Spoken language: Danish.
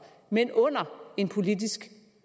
men under en politisk